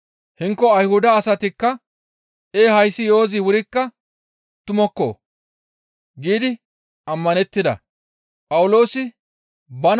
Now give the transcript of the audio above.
Hinko Ayhuda asatikka, «Ee hayssi yo7ozi wurikka tumukko» giidi ammanettida.